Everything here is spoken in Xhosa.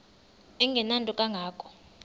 engenanto kanga ko